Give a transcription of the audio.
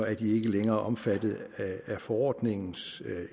er de ikke længere omfattet af forordningens